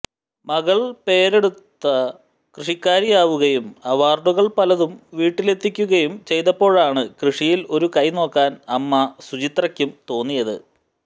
മകൾ പേരെടുത്ത കൃഷിക്കാരിയാവുകയും അവാർഡുകൾ പലതും വീട്ടിലെത്തിക്കുകയും ചെയ്തപ്പോഴാണ് കൃഷിയിൽ ഒരു കൈ നോക്കാൻ അമ്മ സുചിത്രയ്ക്കും തോന്നിയത്